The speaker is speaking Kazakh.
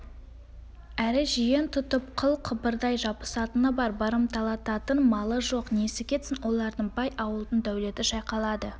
әрі жиен тұтып қыл-қыбырдай жабысатыны бар барымталататын малы жоқ несі кетсін олардың бай ауылдың дәулеті шайқалады